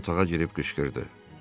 Tacir otağa girib qışqırdı.